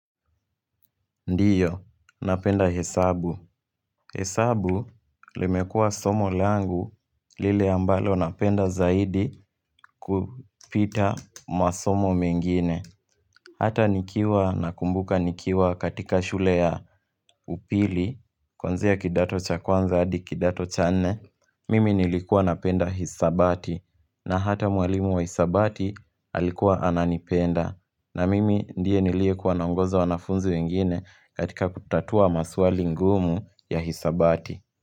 Ndiyo, napenda hesabu, hesabu, limemekua somo langu lile ambalo napenda zaidi kupita masomo mengine Hata nikiwa na kumbuka nikiwa katika shule ya upili kuanzia kidato cha kwanza hadi kidato cha nne Mimi nilikuwa napenda hisabati, na hata mwalimu wa hisabati alikuwa ananipenda na mimi ndiye niliye kwa naongoza wanafunzi wengine katika kutatua maswali ngumu ya hisabati.